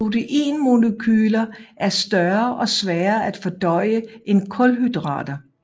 Proteinmolekyler er større og sværere at fordøje end kulhydrater